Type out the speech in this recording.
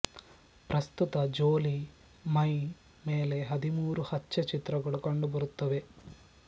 ಪ್ರಸ್ತುತ ಜೋಲೀ ಮೈ ಮೇಲೆ ಹದಿಮೂರು ಹಚ್ಚೆ ಚಿತ್ರಗಳು ಕಂಡು ಬರುತ್ತವೆ